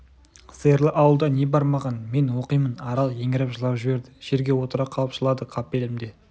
сиырлы ауылда не бар маған мен оқимын арал еңіреп жылап жіберді жерге отыра қалып жылады қапелімде